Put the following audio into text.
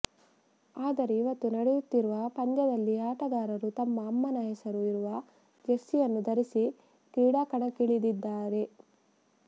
ಆದರೆ ಇವತ್ತು ನಡೆಯುತ್ತಿರುವ ಪಂದ್ಯದಲ್ಲಿ ಆಟಗಾರರು ತಮ್ಮ ಅಮ್ಮನ ಹೆಸರು ಇರುವ ಜೆರ್ಸಿಯನ್ನು ಧರಿಸಿ ಕ್ರೀಡಾಕಣಕ್ಕಿಳಿದಿದ್ದಾರೆ